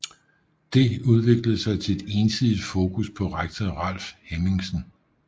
Det udviklede sig til et ensidigt fokus på rektor Ralf Hemmingsen